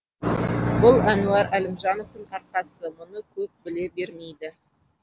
бұл әнуар әлімжановтың арқасы мұны көп біле бермейді